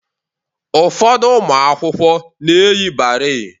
Ụfọdụ ụmụ akwụkwọ na-eyi barei